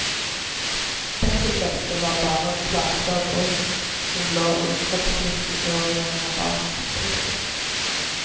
Bekkenbeltet var bare en plate av brusk som lå i kroppsmuskulaturen lengre bak. punktum